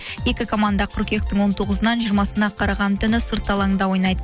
екі команда қыркүйектің он тоғызынан жиырмасына қараған түні сырт алаңда ойнайды